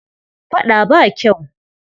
Faɗa ba kyau.